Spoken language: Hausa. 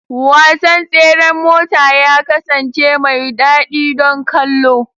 Wasan tseren mota ya kasance mai daɗi don kallo.